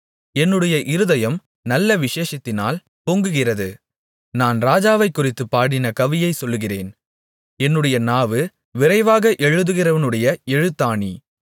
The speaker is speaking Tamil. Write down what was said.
என்னுடைய இருதயம் நல்ல விசேஷத்தினால் பொங்குகிறது நான் ராஜாவைக் குறித்துப் பாடின கவியைச் சொல்லுகிறேன் என்னுடைய நாவு விரைவாக எழுதுகிறவனுடைய எழுத்தாணி